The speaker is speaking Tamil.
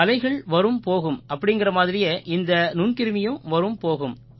அலைகள் வரும் போகும் அப்படீங்கற மாதிரியே இந்த நுண்கிருமியும் வரும் போகும்